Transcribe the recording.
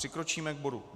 Přikročíme k bodu